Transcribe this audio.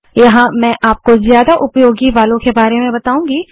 यहाँ मैं आपको ज्यादा उपयोगी वालों के बारे में बताऊँगी